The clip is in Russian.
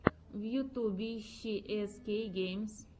в ютьюбе ищи эс кей геймс